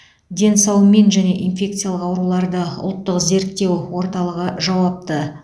денсаумин және инфекциялық ауруларды ұлттық зерттеу орталығы жауапты